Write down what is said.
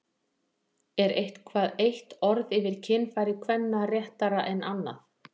Er eitthvað eitt orð yfir kynfæri kvenna réttara en annað?